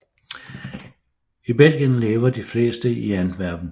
I Belgien lever de fleste i Antwerpen